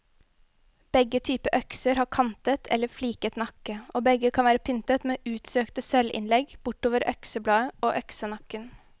Begge typer økser har kantet eller fliket nakke, og begge kan være pyntet med utsøkte sølvinnlegg bortover øksebladet og øksenakken.